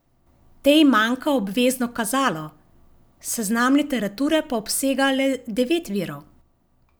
Tej manjka obvezno kazalo, seznam literature pa obsega le devet virov.